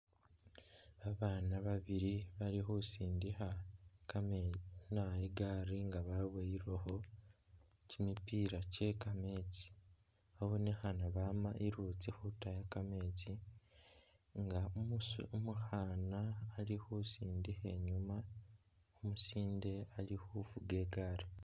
Babaana babili bali khusindikha kame ina i'gaari nga baboyilekho kimipila kye kameetsi. Babonekhaana nga bama iluutsi khutaya kameetsi nga usiya umukhaana ali khusindikha umusinde ali khufuga i'gaari.